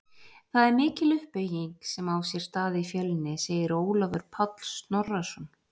Það er mikil uppbygging sem á sér stað í Fjölni, segir Ólafur Páll Snorrason.